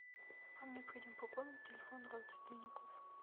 вам необходимо пополнить телефон родственников